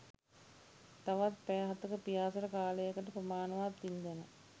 තවත් පැය හතක පියාසර කාලයකට ප්‍රමාණවත් ඉන්ධන